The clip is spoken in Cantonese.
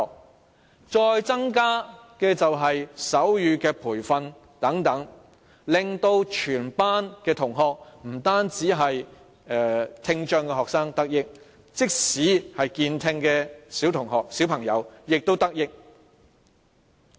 此外，增加手語培訓等措施，亦能令全班同學，不單是聽障學生，也同時得益，即使健聽的小朋友也得益。